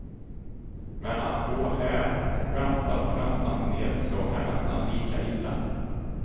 Men att gå här och vänta på nästa nedslag är nästan lika illa.